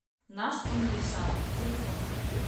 наш универсам телефон